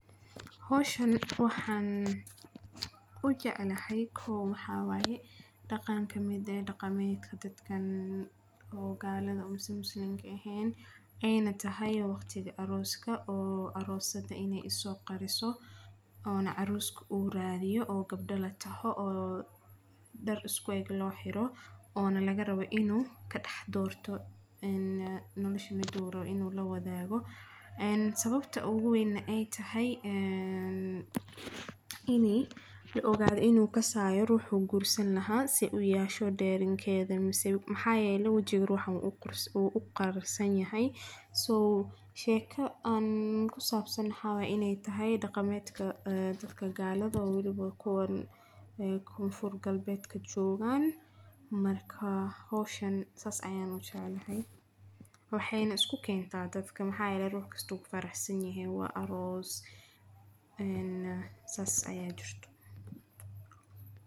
Hawshan waxaan u jeclahay maxaa yeelay dhaqan ka mid ah dhaqanka galada mise Muslimka ahayn ayayna tahay waqtiga arooska. Aroosada in ay is qariso oo ninka arooska ah uu raadiyo, oo gabdho la taabto, dhaar isku eeg loo xiiro oo la raaxo, in uu ka doorto nolosha midda uu rabo in uu la wadaago. Sababta ugu weynna ay tahay in la ogaado in uu ka saxo ruuxa uu guursan lahaa. Saay u yasho dareenkeeda, maxaa yeelay wajiga ruuxaasi wuu u qarsoon yahay. Sheekada ku saabsan ayaa ah in ay tahay dhaqanka galada oo wali kuwan Galbeedka joogan. Marka hawshan sidaas ayaan u jeclahay, waxayna isku keentaa dadka, waayo ruux walba wuu ku faraxsan yahay — waa aroos, saas ayaa jirto